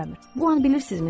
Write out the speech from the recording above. Bu an bilirsinizmi nə olur?